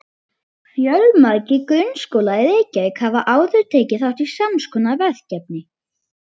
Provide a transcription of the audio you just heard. Fjölmargir grunnskólar í Reykjavík hafa áður tekið þátt í sams konar verkefni.